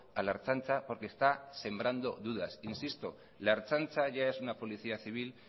a la ertzaintza porque está sembrando dudas insisto la ertzaintza ya es una policía civil